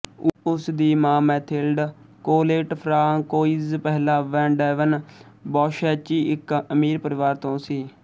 ਉਸ ਦੀ ਮਾਂ ਮੈਥਿਲਡ ਕੋਲੇਟ ਫ਼੍ਰਾਂਕੋਇਜ਼ ਪਹਿਲਾਂ ਵੈਨ ਡੈਵਨ ਬੌਸ਼ੈਚੀ ਇਕ ਅਮੀਰ ਪਰਿਵਾਰ ਤੋਂ ਸੀ